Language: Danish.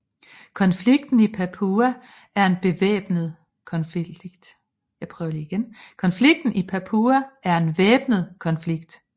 Konflikten i Papua er en væbnet konflikt